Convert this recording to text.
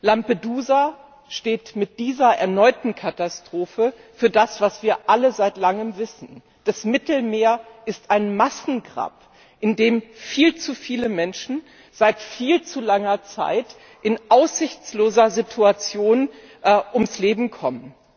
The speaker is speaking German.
Lampedusa steht mit dieser erneuten Katastrophe für das, was wir alle seit Langem wissen Das Mittelmeer ist ein Massengrab, in dem viel zu viele Menschen seit viel zu langer Zeit in aussichtsloser Situation ums Leben kommen.